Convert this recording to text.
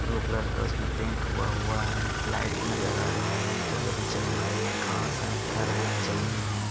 Blue colour का उसमें paint हुआ हुवा है लाइट नज़र आ रहें है जो अभी चल नही रहे है घास है घर हैं ज़मीन है।